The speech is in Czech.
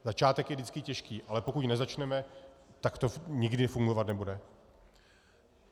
Začátek je vždycky těžký, ale pokud nezačneme, tak to nikdy fungovat nebude.